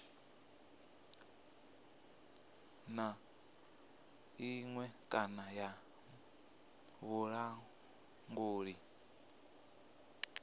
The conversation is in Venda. na iṅwe kana ya vhulanguli